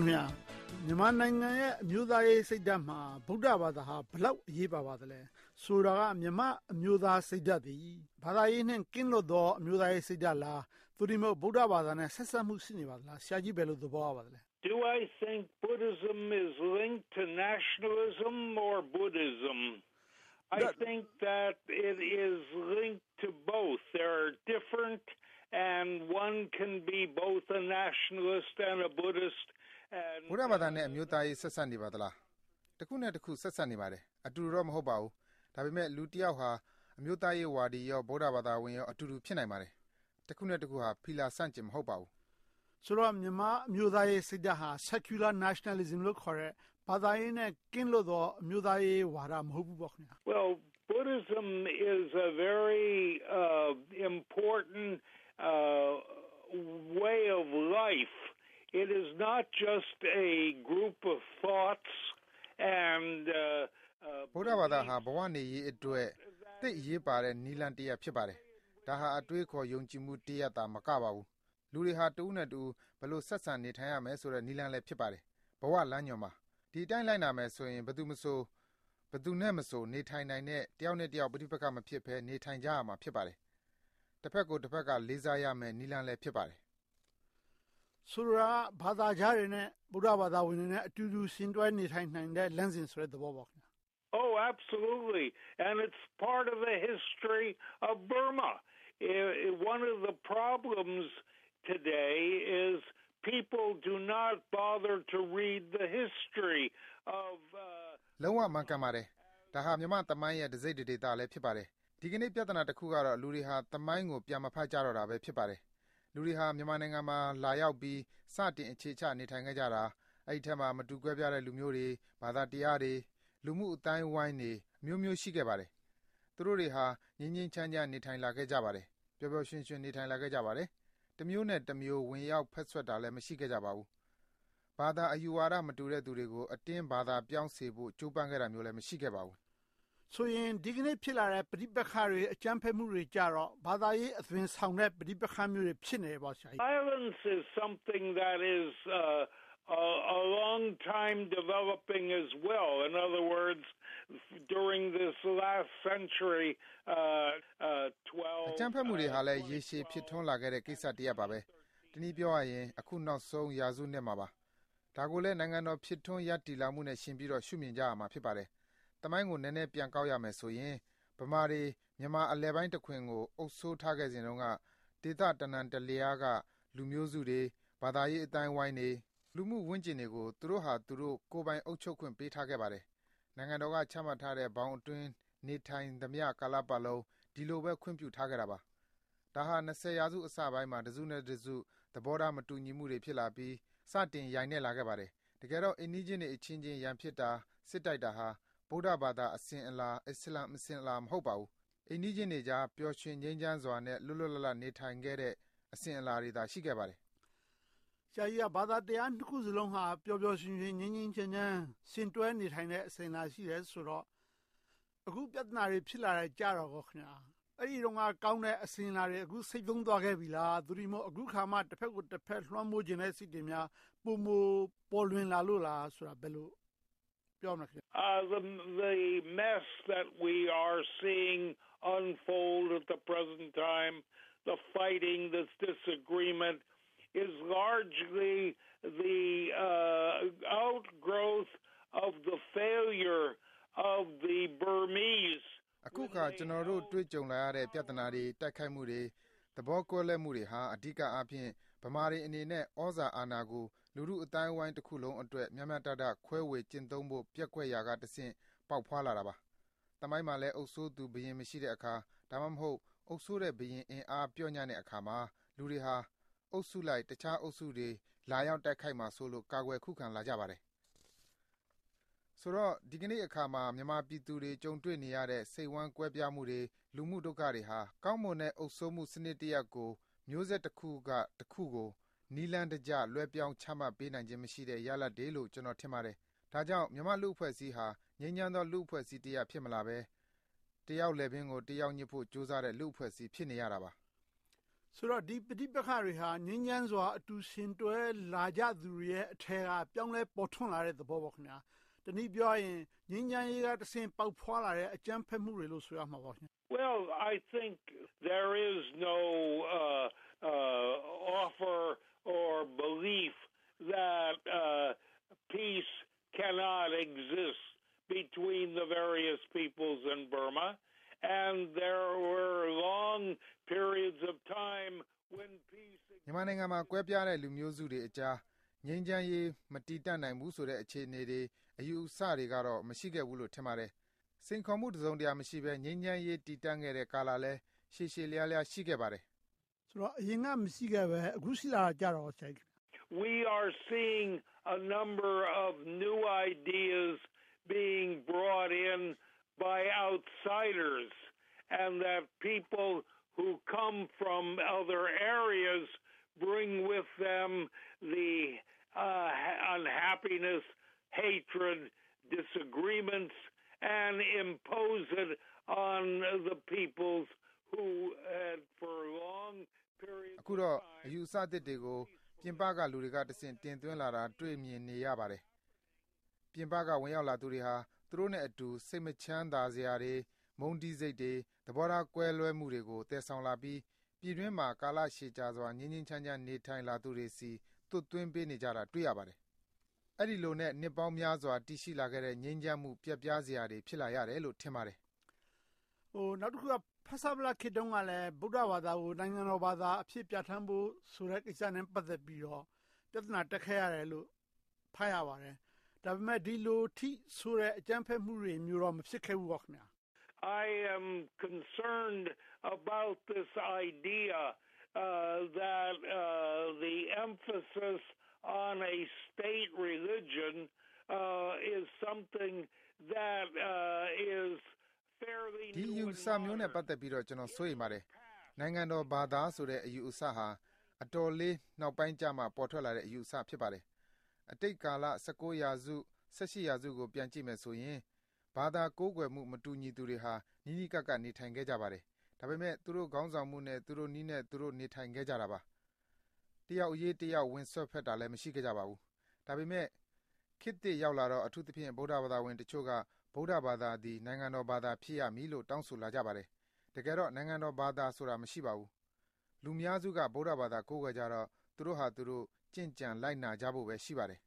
ခင်များ… မြန်မာနိုင်ငံရဲ့ အမျိုးသားရေးစိတ်ဓါတ်မှာ ဗုဒ္ဓဘာသာဟာ ဘယ်လောက်အရေးပါသလဲ။ ဆိုလိုတာက မြန်မာ့အမျိုးသားစိတ်ဓါတ်သည် ဘာသာရေးနဲ့ ကင်းလွတ်သော အမျိုးသားရေးစိတ်ဓါတ်လား။ သို့တည်းမဟုတ် ဗုဒ္ဓဘာသာနဲ့ ဆက်စပ်မှု ရှိနေပါလား။ ဆရာကြီး ဘယ်လိုသဘောရပါသလဲ။ ဗုဒ္ဓဘာသာနဲ့ အမျိုးသားရေး ဆက်စပ်နေပါသလား။ တခုနဲ့တခု ဆက်စပ်နေပါတယ်။ အတူတူတော့ မဟုတ်ပါဘူး။ ဒါပေမဲ့ လူတယောက်ဟာ အမျိုးသားရေးဝါဒီကော၊ ဗုဒ္ဓဘာသာဝင်ကော အတူတူဖြစ်နိုင်ပါတယ်။ တခုနဲ့တခုဟာ ဖီလာဆန့်ကျင် မဟုတ်ပါဘူး။ ဆိုတော့ မြန်မာ့အမျိုးသားရေးစိတ်ဓါတ်ဟာ Secular Nationalism လို့ခေါ်တဲ့ ဘာသာရေးနဲ့ ကင်းလွတ်သော အမျိုးသားရေးဝါဒ မဟုတ်ဘူးပေါ့။ ဗုဒ္ဓဘာသာဟာ ဘဝနေရေးအတွက် သိပ်အရေးပါတဲ့ နည်းလမ်းတရပ် ဖြစ်ပါတယ်။ ဒါဟာ အတွေးအခေါ် ယုံကြည်မှုတရပ်သာမကပါဘူး။ လူတွေဟာ တဦးနဲ့တဦး ဘယ်လိုဆက်ဆံနေထိုင်ရမယ်ဆိုတဲ့ နည်းလမ်းလည်း ဖြစ်ပါတယ်။ ဘဝလမ်းညွှန်ပါ။ ဒီအတိုင်း လိုက်နာမယ်ဆိုရင် ဘယ်သူနဲ့မဆို နေထိုင်နိုင်တဲ့၊ တယောက်နဲ့တယောက် ပဋိပက္ခမဖြစ်ဘဲ နေထိုင်ကြရမှာ ဖြစ်ပါတယ်။ တဘက်ကိုတဘက် လေးစားကြရမယ့် နည်းလမ်းလည်း ဖြစ်ပါတယ်။ ဆိုလိုတာက ဘာသာခြားတွေနဲ့ ဗုဒ္ဓဘာသာဝင်တွေနဲ့အတူတူ ယှဉ်တွဲနေထိုင်နိုင်တဲ့ လမ်းစဉ်ဆိုတဲ့သဘောပေါ့။ လုံးဝမှန်ကန်ပါတယ်။ ဒါဟာ မြန်မာ့သမိုင်းရဲ့ တစိတ်တဒေသလည်း ဖြစ်ပါတယ်။ ဒီကနေ့ ပြဿနာတခုကတော့ လူတွေဟာ သမိုင်းကို ပြန်မဖတ်ကြတော့တာပဲ ဖြစ်ပါတယ်။ လူတွေဟာ မြန်မာနိုင်ငံမှာ လာရောက်ပြီး စတင်အခြေချ နေထိုင်ခဲ့ကြတာ အဲဒီအထဲမှာ မတူကွဲပြားတဲ့ လူမျိုးတွေ၊ ဘာသာတရားတွေ၊ လူမှု့အသိုင်းအဝိုင်းတွေ အမျိုးမျိုး ရှိခဲ့ပါတယ်။ သူတို့တွေဟာ ငြိမ်းငြိမ်းချမ်းချမ်း နေထိုင်လာခဲ့ကြပါတယ်။ ပျော်ပျော်ရွှင်ရွှင် နေထိုင်လာခဲ့ကြပါတယ်။ တမျိုးနဲ့တမျိုး ဝင်ရောက်စွက်ဖက်တာလည်း မရှိခဲ့ကြပါဘူး။ ဘာသာအယူဝါဒ မတူတဲ့သူတွေကို အတင်းဘာသာပြောင်းစေဖို့ ကြိုးပမ်းခဲ့တာလည်း မရှိခဲ့ပါဘူး။ ဆိုရင် ဒီကနေ့ ဖြစ်လာတဲ့ ပဋိပက္ခတွေရဲ့ အကြမ်းဖက်မှုတွေကြတော့ ဘာသာရေးအသွင်ဆောင်တဲ့ ပဋိပက္ခမျိုးတွေ ဖြစ်နေတယ်ပေါ့။ အကြမ်းဖက်မှုတွေကလည်း ရေရှည်ဖြစ်ထွန်းလာခဲ့တဲ့ ကိစ္စတရပ်ပါပဲ။ တနည်းပြောရရင် အခုနောက်ဆုံး ရာစုနှစ်မှာပါ။ ဒါကိုလည်း နိုင်ငံတော် ဖြစ်ထွန်းလာမှုနဲ့ ယှဉ်ပြီးတော့ ရှုမြင်ကြရမှာပါ။ သမိုင်းကို နည်းနည်းပြန်ကောက်ရမယ်ဆိုရင် ဗမာတွေ မြန်မာအလယ်ပိုင်းတခွင်ကို အုပ်စိုးထားခဲ့စဉ်က ဒေသတနံတလျားက လူမျိုးစုတွေ၊ ဘာသာရေး အသိုင်းအဝိုင်းတွေ၊ လူမှုဝန်းကျင်တွေကို သူတို့ဟာသူတို့ ကိုယ်ပိုင်အုပ်ချုပ်ခွင့်တွေ ပေးထားခဲ့ပါတယ်။ နိုင်ငံတော်က ချမှတ်ထားခဲ့တဲ့ ဘောင်အတွင်း နေထိုင်သမျှကာလပတ်လုံး ဒီလိုပဲ ခွင့်ပြုထားခဲ့တာပါ။ ဒါဟာ ရာစု အစပိုင်းမှာ တစုနဲ့တစု သဘောထားမတူညီမှုတွေ ဖြစ်လာပြီး၊ စတင်ယိုင်းနဲ့လာခဲ့ပါတယ်။ တကယ်တော့ အိမ်နီးချင်းတွေအချင်းချင်း ရန်ဖြစ်တာ၊ စစ်တိုက်တာဟာ ဗုဒ္ဓဘာသာ အစဉ်အလာ မဟုတ်ပါဘူး။ အိမ်နီးချင်းတွေကြား ပျော်ရွှင်ငြိမ်းချမ်းစွာနဲ့ လွတ်လွတ်လပ်လပ် နေထိုင်ခဲ့တဲ့ အစဉ်အလာတွေသာ ရှိခဲ့ပါတယ်။ ဘာသာတရား နှစ်ခုစလုံးဟာ ပျော်ပျော်ရွှင်ရွှင် ငြိမ်းငြိမ်းချမ်းချမ်း ယှဉ်တွဲနေထိုင်တဲ့ အစဉ်အလာ ရှိတယ်ဆိုတော့ အခုပြဿနာတွေ ဖြစ်လာတာကြကော။ အဲဒီတုန်းက ကောင်းတဲ့အစဉ်အလာတွေ ဆိတ်သုဉ်းသွားခဲ့ပြီလား။ သို့တည်းမဟုတ် အခုအခါမှ တဘက်ကိုတဘက် လွှမ်းမိုးချင်တဲ့ စိတ်တွေများ ပိုမိုပေါ်လွှင်လာလို့လား။ ဘယ်လိုပြောမလဲ။ အခုအခါ ကျနော်တို့ တွေ့ကြုံလာရတဲ့ ပြဿနာတွေ၊ တိုက်ခိုက်မှုတွေ၊ သဘောကွဲလွဲမှုတွေဟာ အဓိကအားဖြင့် ဗမာတွေအနေနဲ့ သြဇာအာဏာကို လူထုအသိုင်းအဝိုင်းတခုလုံးအတွက် မျှမျှတတ ခွဲဝေကျင့်သုံးဖို့ ပျက်ကွယ်ရာမှတဆင့် ပေါက်ဖွားလာတာပါ။ သမိုင်းမှာလည်း အုပ်စိုးသူဘုရင် မရှိတဲ့အခါ၊ ဒါမှမဟုတ် အုပ်စိုးတဲ့ဘုရင် အင်အားပျော့ညံ့တဲ့အခါမှာ လူတွေဟာ အုပ်စုလိုက် တခြားအုပ်စုတွေ လာရောက်တိုက်ခိုက်မှာစိုးလို့ ကာကွယ်ခုခံလာကြပါတယ်။ ဆိုတော့ ဒီကနေ့အခါမှာ မြန်မာပြည်သူတွေ ကြုံတွေ့နေရတဲ့ စိတ်ဝမ်းကွဲပြားမှုတွေ၊ လူမှု့ဒုက္ခတွေဟာ ကောင်းမွန်တဲ့အုပ်စိုးမှု စနစ်တရပ်ကို မျိုးဆက်တခုကနေ မျိုးဆက်တခုကို နည်းလမ်းတကျ လွှဲပြောင်းချမှတ်ပေးနိုင်ခြင်း မရှိတဲ့ရလဒ်တွေလို့ ကျနော် ထင်ပါတယ်။ ဒါကြောင့် မြန်မာ့လူ့အဖွဲ့အစည်းဟာ ငြိမ်းချမ်းသော လူ့အဖွဲ့အစည်းတရပ် ဖြစ်မလာဘဲ၊ တယောက်လည်းပင်ကို တယောက်ညစ်ဖို့ ကြိုးစားနေတဲ့ လူ့အဖွဲ့အစည်း ဖြစ်နေရတာပါ။ ဆိုတော့ ဒီပဋိပက္ခတွေဟာ ငြိမ်းချမ်းစွာ အတူယှဉ်တွဲလာကြသူတွေရဲ့အထဲက ပြောင်းလဲပေါ်ထွန်းလာတဲ့ သဘောပေါ့။ တနည်းပြောရရင် ငြိမ်းချမ်းရေးကတဆင့် ပေါက်ဖွားလာတဲ့ အကြမ်းဖက်မှုတွေလို့ ဆိုရမှာပေါ့။ မြန်မာနိုင်ငံမှာ ကွဲပြားတဲ့လူမျိုးစုတွေအကြား ငြိမ်းချမ်းရေး မတည်တန့်နိုင်ဘူးဆိုတဲ့ အခြေအနေတွေ၊ အယူအဆတွေကတော့ မရှိခဲ့ဘူးလို့ ထင်ပါတယ်။ စိန်ခေါ်မှု တစုံတရာမရှိဘဲ ငြိမ်းချမ်းရေး တည်တန့်ခဲ့တဲ့ကာလလည်း ရှည်ရှည်လျားလျား ရှိခဲ့ပါတယ်။ အရင်က မရှိခဲ့ဘဲ၊ အခုရှိလာခဲ့တာကြတော့ကော ဆရာကြီး။ အခုတော့ အယူအဆသစ်တွေကို ပြင်ပက လူတွေကတဆင့် တင်သွင်းလာတာကို တွေ့မြင်နေရပါတယ်။ ပြင်ပက ဝင်ရောက်လာသူတွေဟာ သူတို့နဲ့အတူ စိတ်မချမ်းသာစရာတွေ၊ မုန်းတီးစိတ်တွေ၊ သဘောထား ကွဲလွဲမှုတွေကို သယ်ဆောင်လာပြီး၊ ပြည်တွင်းမှာ ကာလရှည်ကြာစွာ ငြိမ်းငြိမ်းချမ်းချမ်း လာသူတွေဆီ သွတ်သွင်းပေးနေကြတာကို တွေ့ရပါတယ်။ အဲဒီလိုနဲ့ နှစ်ပေါင်းများစွာ တည်ရှိလာခဲ့တဲ့ ငြိမ်းချမ်းမှု ပျက်ပြားစရာတွေ ဖြစ်လာရတယ်လို့ ထင်ပါတယ်။ နောက်တခုက ဖဆပလခေတ်တုန်းကလည်း ဗုဒ္ဓဘာသာကို နိုင်ငံတော်ဘာသာအဖြစ် ပြဌာန်းဖို့ ကိစ္စနဲ့ ပတ်သက်ပြီး ပြဿနာတက်ခဲ့ရတယ်လို့ ဖတ်ရပါတယ်။ ဒါပေမဲ့ ဒီလို အကြမ်းဖက်မှုမျိုးတွေတော့ မဖြစ်ခဲ့ပါဘူး။ ဒီအယူအဆမျိုးနဲ့ ပတ်သက်ပြီးတော့ ကျနော် စိုးရိမ်ပါတယ်။ နိုင်ငံတော်ဘာသာဆိုတဲ့ အယူအဆဟာ အတော်လေး နောက်ပိုင်းကျမှ ပေါ်ထွက်လာတဲ့ အယူအဆ ဖြစ်ပါတယ်။ အတိတ်ကာလ ရာစု ရာစုကို ပြန်ကြည့်မယ်ဆိုရင် ဘာသာကိုးကွယ်မှုမတူသူတွေဟာ နီးနီးကပ်ကပ် နေထိုင်ခဲ့ကြပါတယ်။ ဒါပေမဲ့ သူတို့ခေါင်းဆောင်မှုနဲ့ သူတို့နည်းနဲ့ သူတို့နေထိုင်ခဲ့ကြတာပါ။ တယောက်အရေး တယောက် ဝင်စွက်ဖက်တာလည်း မရှိခဲ့ပါဘူး။ ဒါပေမဲ့ ခေတ်သစ်ရောက်လာတော့ အထူးသဖြင့် ဗုဒ္ဓဘာသာဝင်တွေတချို့က ဗုဒ္ဓဘာသာသည် နိုင်ငံတော်ဘာသာ ဖြစ်ရမည်လို့ တောင်းဆိုလာကြပါတယ်။ တကယ်တော့ နိုင်ငံတော်ဘာသာဆိုတာ မရှိပါဘူး။ လူအများစုက ဗုဒ္ဓဘာသာ ကိုးကွယ်ကြတော့ သူတို့ဟာ သူတို့ကျင့်ကြံလိုက်နာကြဖို့ပဲ ရှိပါတယ်။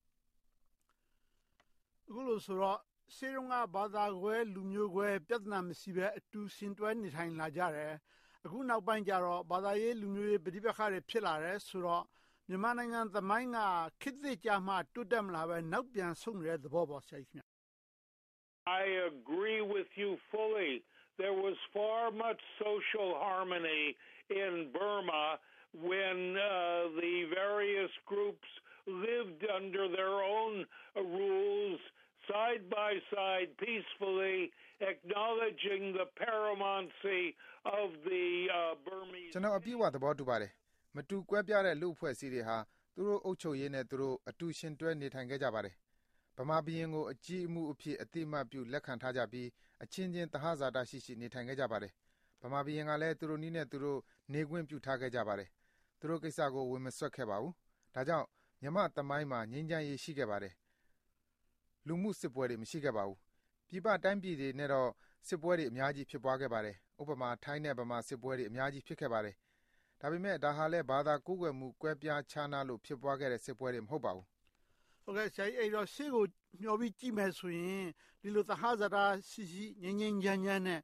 အခုလိုဆိုတော့ ရှေ့တုန်းက ဘာသာကွဲ၊ လူမျိုးကွဲ၊ ပြဿနာ မရှိဘဲ အတူယှဉ်တွဲ နေထိုင်လာကြတယ်။ အခုနောက်ပိုင်းကြတော့ ဘာသာရေး၊ လူမျိုးရေး ပဋိပက္ခတွေ ဖြစ်လာတယ်ဆိုတော့ မြန်မာနိုင်ငံသမိုင်းက ခေတ်သစ်ကြမှ တိုးတက်မလာဘဲ၊ နောက်ပြန်ဆုတ်နေတဲ့ သဘောပေါ့။ ကျနော် အပြည့်အဝ သဘောတူပါတယ်။ မတူကွဲပြားတဲ့ လူ့အဖွဲ့အစည်းတွေဟာ သူတို့အုပ်ချုပ်ရေးနဲ့ သူတို့ အတူယှဉ်တွဲနေထိုင်ခဲ့ကြပါတယ်။ ဗမာဘုရင်ကို အကြီးအမှုးအဖြစ် အသိအမှတ်ပြု လက်ခံထားကြပြီး အချင်းချင်း သဟဇာတရှိရှိ နေထိုင်ခဲ့ကြပါတယ်။ ဗမာဘုရင်ကလည်း သူတို့နည်းနဲ့သူတို့ နေခွင့်ပြုထားခဲ့ကြပါတယ်။ သူတို့ကိစ္စကို ဝင်မစွက်ခဲ့ကြပါဘူး။ ဒါကြောင့် မြန်မာ့သမိုင်းမှာ ငြိမ်းငြိမ်းချမ်းချမ်း ရှိခဲ့ပါတယ်။ လူမှု့စစ်ပွဲတွေ မရှိခဲ့ပါဘူး။ ပြည်ပတိုင်းပြည်တွေနဲ့တော့ စစ်ပွဲတွေ အများကြီး ဖြစ်ခဲ့ပါတယ်။ ဥပမာ ထိုင်းနဲ့မြန်မာ စစ်ပွဲတွေ အများကြီး ဖြစ်ခဲ့ပါတယ်။ ဒါပေမဲ့ ဒါဟာလဲ ဘာသာကိုးကွယ်မှု ကွဲပြားခြားနားလို့ ဖြစ်ပွားခဲ့တဲ့ စစ်ပွဲတွေ မဟုတ်ပါဘူး။ ရှေ့ကိုမျှော်ပြီး ကြည့်မယ်ဆိုရင် ဒီလို သဟဇာတရှိရှိ ငြိမ်းငြိမ်းချမ်းချမ်းနဲ့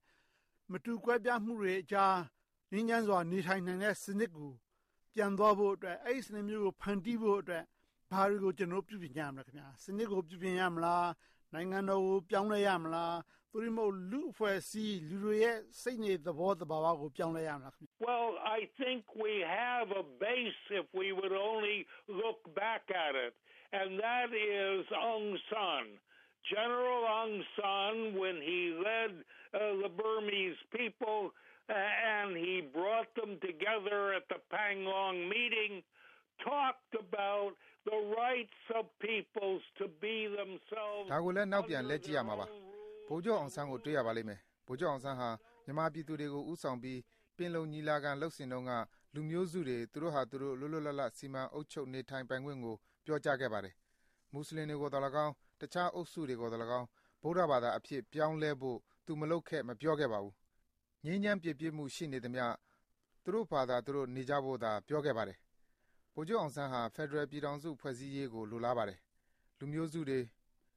မတူကွဲပြားမှုတွေအကြား ငြိမ်းချမ်းစွာ နေထိုင်နိုင်တဲ့စနစ်ကို ပြန်သွားဖို့အတွက်၊ အဲဒီစနစ်မျိုးကို ဖန်တီးဖို့အတွက် ဘာတွေကို ကျနော်တို့ ပြုပြင်ကြမလဲ။ စနစ်ကို ပြုပြင်ရမလား။ နိုင်ငံတော်ကို ပြောင်းလဲရမလား။ သို့တည်းမဟုတ် လူ့အဖွဲ့အစည်း၊ လူတွေရဲ့ စိတ်နေသဘောထား သဘာဝကို ပြောင်းလဲရမလား။ ဒါကိုလည်း နောက်ပြန်လှည့်ကြည့်ရမှာပါ။ ဗိုလ်ချုပ်အောင်ဆန်းကို တွေ့ရပါလိမ့်မယ်။ ဗိုလ်ချုပ်အောင်ဆန်းဟာ မြန်မာပြည်သူတွေကို ဦးဆောင်ပြီး ပင်လုံညီလာခံ လုပ်စဉ်တုန်းက လူမျိုးစုတွေ သူတို့ဟာသူတို့ လွတ်လွတ်လပ်လပ် စီမံအုပ်ချုပ်နေထိုင်ပိုင်ခွင့်ကို ပြောကြားခဲ့ပါတယ်။ မူစလင်တွေကိုလည်းကောင်း၊ တခြားအုပ်စုတွေကိုသော်လည်းကောင်း ဗုဒ္ဓဘာသာအဖြစ် ပြောင်းလဲဖို့ သူမလုပ်ခဲ့၊ မပြောခဲ့ပါဘူး။ ငြိမ်းချမ်းပြေပြစ်မှု ရှိနေသမျှ သူတို့ဘာသာသူတို့ နေကြဖို့သာ ပြောခဲ့ပါတယ်။ ဗိုလ်ချုပ်အောင်ဆန်းဟာ ဖယ်ဒရယ်ပြည်ထောင်စု ဖွဲ့စည်းရေးကို လိုလားပါတယ်။ လူမျိုးစုတွေ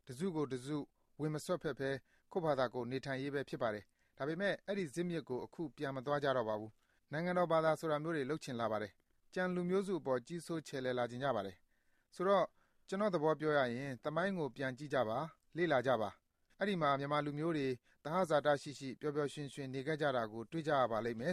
တစုကိုတစု ဝင်မစွက်ဖက်ဘဲ ကိုယ်ဘာသာကိုယ် နေထိုင်ရေးပဲ ဖြစ်ပါတယ်။ ဒါပေမဲ့ အဲဒီဇစ်မြစ်ကို အခုပြန်မသွားကြတော့ပါဘူး။ နိုင်ငံတော်ဘာသာမျိုးတွေ လုပ်ချင်လာပါတယ်။ ကျန်လူမျိုးအပေါ် ကြီးစိုးချယ်လှယ်လာချင်ကြပါတယ်။ ဆိုတော့ ကျနော့်သဘောပြောရရင် သမိုင်းကို ပြန်ကြည့်ကြပါ။ လေ့လာကြပါ။ အဲဒီမှာ မြန်မာလူမျိုးတွေ၊ သဟဇာတရှိရှိ ပျော်ပျော်ရွှင်ရွှင် နေခဲ့ကြတာကို တွေ့ရပါလိမ့်မယ်